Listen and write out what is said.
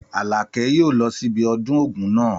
Àlàkẹ́ yóò lọ sí ibi ọdún Ògún náà.